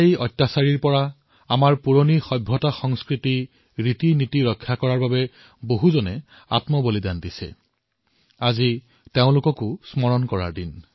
মোৰ মৰমৰ দেশবাসীসকল আমাৰ দেশৰ সহস্ৰ বৰ্ষ পুৰণি সংস্কৃতি সভ্যতা আৰু ৰীতিনীতিক অত্যাচাৰীৰৰ হাতৰ পৰা ৰক্ষা কৰাৰ বাবে কিমানজনে বলিদান দিছে আজি সেয়া স্মৰণ কৰাৰ দিন